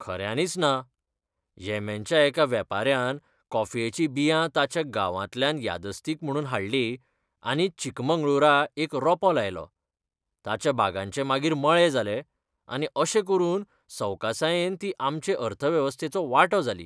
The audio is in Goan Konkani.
खऱ्यानीच ना! येमेनच्या एका वेपाऱ्यान कॉफयेचीं बियां ताच्या गांवांतल्यान यादस्तीक म्हणून हाडलीं आनी चिकमंगळूरा एक रोंपो लायलो, ताच्या बागांचे मागीर मळे जाले, आनी अशें करून सवकासायेन ती आमचे अर्थवेवस्थेचो वांटो जाली.